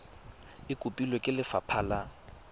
e kopilwe ke lefapha la